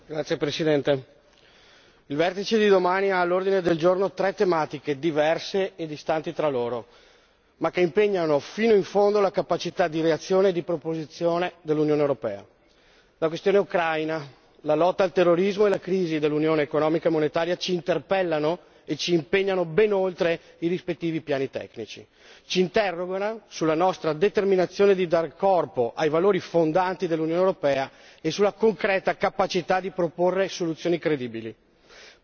Signora Presidente, onorevoli colleghi, il vertice di domani ha all'ordine del giorno tre tematiche diverse e distanti fra loro, ma che impegnano fino in fondo la capacità di reazione e di proposizione dell'Unione europea. La questione ucraina, la lotta al terrorismo e la crisi dell'unione economica e monetaria ci interpellano e ci impegnano ben oltre i rispettivi piani tecnici. Ci interrogano sulla nostra determinazione a dare corpo ai valori fondanti dell'Unione europea e sulla concreta capacità di proporre soluzioni credibili.